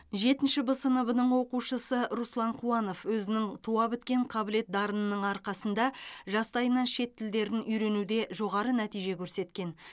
жетінші б сыныбының оқушысы руслан қуанов өзінің туабіткен қабілет дарынының арқасында жастайынан шет тілдерін үйренуде жоғары нәтиже көрсеткен